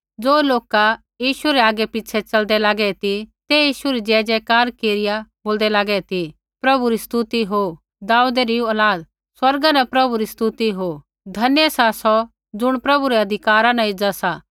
ज़ो लोका यीशु रै आगैपिछ़ै च़लदै लागै ती ते यीशु री जयजयकार केरिया बोलदै लागै ती प्रभु री स्तुति हो दाऊदै री औलाद स्वर्गा न प्रभु री स्तुति हो धन्य सा सौ ज़ुण प्रभु रै अधिकारा न एज़ा सा